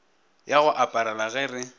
ya go aparela ge re